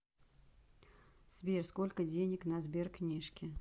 сбер сколько денег на сберкнижке